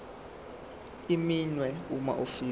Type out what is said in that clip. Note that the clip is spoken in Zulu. iminwe uma ufika